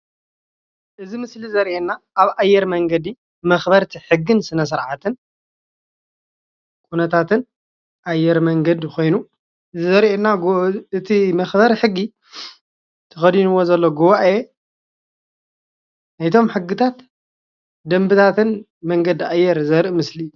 እዚ ምስሊ ዘርእየና ኣብ ኣየር መንገዲ መኽበርቲ ሕግን ሰነስርዓትን ኩነታትን ኣየር መንገዲ ኾይኑ ዘርእየና እቲ መኽበሪ ሕጊ ተከዲኒዎ ዘሎ ጉባኤ ናይቶም ሕግታትን ደንብታት መንገዲ ኣየር ዘርኢ ምስሊ እዩ።